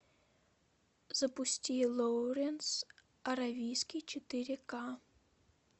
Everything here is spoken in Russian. запусти лоуренс аравийский четыре ка